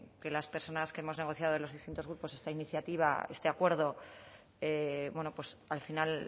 que las personas que hemos negociado en los distintos grupos esta iniciativa este acuerdo bueno pues al final